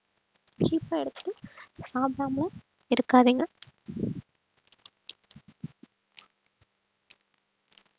cheap ஆ எடுத்துட்டு சாப்பிடாம எல்லாம் இருக்காதீங்க